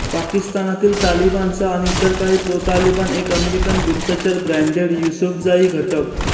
पाकिस्तानातील तालिबानचा आणि इतर काही प्रोतालिबान एक अमेरिकन गुप्तचर ब्रॅंडेड युसुफजाई घटक